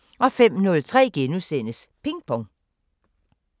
05:03: Ping Pong *